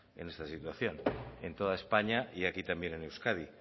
en esta situación en toda españa y aquí también en euskadi